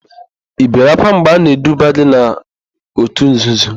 Ị bere ákwá mgbe a na-eduba gị n'òtù nzuzo?